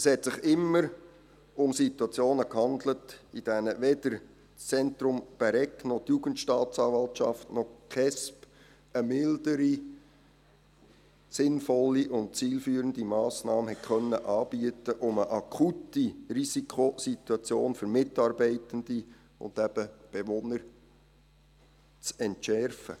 Es handelte sich immer um Situationen, in denen weder das Zentrum Bäregg noch die Jugendstaatsanwaltschaft noch die Kindes- und Erwachsenenschutzbehörde (KESB) eine mildere, sinnvolle und zielführende Massnahme anbieten konnten, um eine akute Risikosituation für Mitarbeitende und eben Bewohner zu entschärfen.